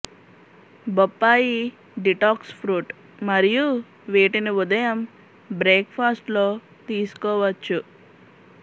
బొప్పాయి detox fruit మరియు వీటిని ఉదయం బ్రేక్ ఫాస్ట్ లో తీసుకోవచ్చు